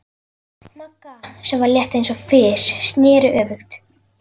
Magga, sem var létt eins og fis, sneri öfugt.